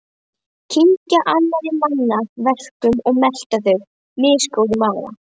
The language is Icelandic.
Kyngja annarra manna verkum og melta þau, misgóð í maga.